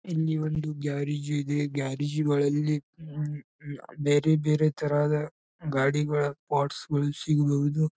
ಇಲ್ಲಿ ಒಂದು ಗ್ಯಾರೇಜ್ ಇದೆ ಗ್ಯಾರೇಜ್ ಗಳಲ್ಲಿ ಹ್ಮ್ಮ್ ಹ್ಮ್ ಬೇರೆ ಬೇರೆ ತರಹದ ಗಾಡಿಗಳ ಪಾಟ್ಸ್ ಗಳು ಸಿಗಬಹುದು.